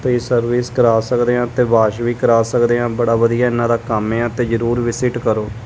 ਤੇ ਸਰਵਿਸ ਕਰਾ ਸਕਦੇ ਹਾਂ ਤੇ ਵਾਸ਼ ਵੀ ਕਰਾ ਸਕਦੇ ਆਂ ਬੜਾ ਵਧੀਆ ਇਹਨਾਂ ਦਾ ਕੰਮ ਆ ਤੇ ਜਰੂਰ ਵਿਜਿਟ ਕਰੋ।